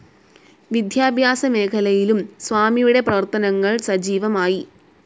വിദ്യാഭ്യാസ മേഖലയിലും സ്വാമിയുടെ പ്രവർത്തനങ്ങൾ സജീവമായി